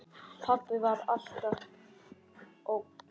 Pabbi var alltaf ógn.